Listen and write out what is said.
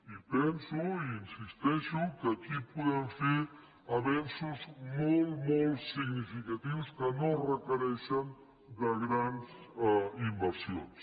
i penso i hi insisteixo que aquí podem fer avenços molt molt significatius que no requereixen de grans inversions